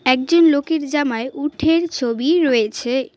একজন লোকের জামায় উঠের ছবি রয়েছে।